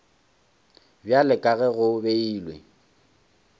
bjalo ka ge go beilwe